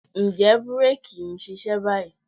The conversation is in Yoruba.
Ǹjẹ́ búréèkì yìí ń ṣiṣẹ́ báyìí?